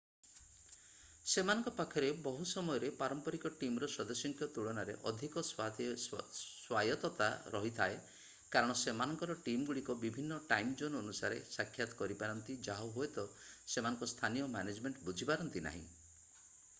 ସେମାନଙ୍କ ପାଖରେ ବହୁ ସମୟରେ ପାରମ୍ପରିକ ଟିମ୍‌ର ସଦସ୍ୟଙ୍କ ତୁଳନାରେ ଅଧିକ ସ୍ଵାୟତ୍ତତା ରହିଥାଏ କାରଣ ସେମାନଙ୍କର ଟିମ୍‌ଗୁଡ଼ିକ ବିଭିନ୍ନ ଟାଇମ୍‌-ଜୋନ୍‌ ଅନୁସାରେ ସାକ୍ଷାତ କରିପାରନ୍ତି ଯାହା ହୁଏତ ସେମାନଙ୍କ ସ୍ଥାନୀୟ ମ୍ୟାନେଜମେଣ୍ଟ ବୁଝିପାରନ୍ତି ନାହିଁ।